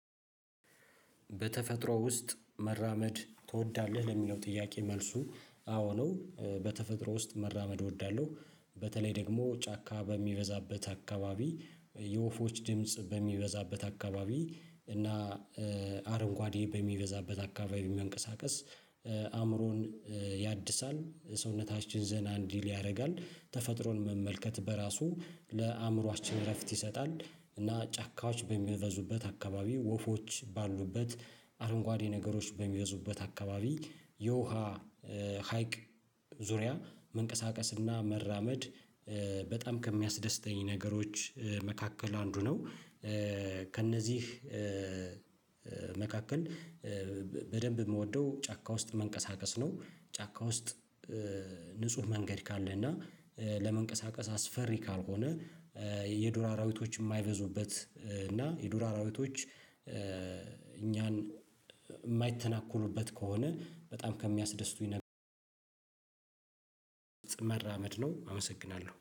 በተፈጥሮ ውስጥ መራመድ ትወዳለህ ለሚለው ጥያቄ መልሱ አዎ ነው። በተፈጥሮ ውስጥ መራመድ እወዳለሁ። በተለይ ደግሞ ጫካ በሚበዛበት አካባቢ የወፎች ድምጽ በሚበዛበት አካባቢ እና አረንጓዴ በሚበዛበት አካባቢ መንቀሳቀስ አምሮን ያድሳል ሰውነታችን ዘና እንዲል ያረጋል ተፈጥሮን መመልከት በራሱ ለአምሮአችን እረፍት ይሰጣል። እና ጫካዎች በሚበዙበት አካባቢ ወፎች ባሉበት አረንጓዴ ነገሮች በሚበዙበት አካባቢ የውሃ ሀይቅ ዙሪያ መንቀሳቀስና መራመድ በጣም ከሚያስደስተኝ ነገሮች መካከል አንዱ ነው። ከእነዚህ መካከል በደንብ ምወደው ጫካ ውስጥ መንቀሳቀስ ነው። ጫካ ውስጥ ንጹህ መንገድ ካለ እና ለመንቀሳቀስ አስፈሪ ካልሆነ የዱር አራዊቶች ማይበዙበት እና የዱር አራዊቶች እኛን የማይተናኮሉበት ከሆነ በጣም ከሚያስደስቱኝ መራመድ ነው። አመሰግናለሁ